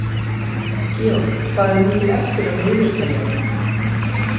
Georg, hvað er mikið eftir af niðurteljaranum?